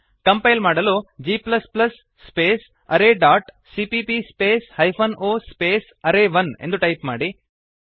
compile ಮಾಡಲು g arrayಸಿಪಿಪಿ o array1ಜಿ space array dot CPP space hyphen o space array one ಎಂದು type ಮಾಡಿ